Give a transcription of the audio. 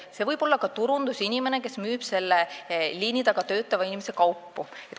See võib olla ka turundusinimene, kes müüb selle liini taga töötava inimese toodetud kaupu.